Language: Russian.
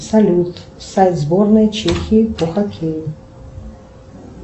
салют сайт сборной чехии по хоккею